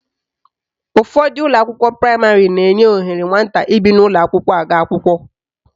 Ụfọdụ ụlọakwụkwọ praịmarị na-enye ohere nwata ibi n'ụlọakwụkwọ aga akwụkwọ